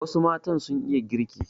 Wasu matan sun iya girki.